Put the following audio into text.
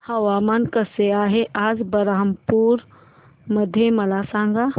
हवामान कसे आहे आज बरहमपुर मध्ये मला सांगा